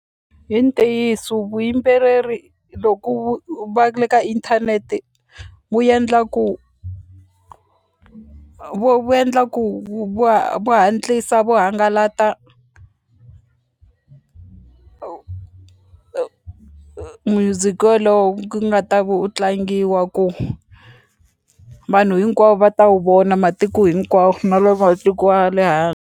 Hi ntiyiso vuyimbeleri loku va le ka inthanete wu endla ku vo ku va va hatlisa va hangalata music wa lowu ku nga ta ve u tlangiwa ku vanhu hinkwavo va ta wu vona matiko hinkwawo na la matiku ya le .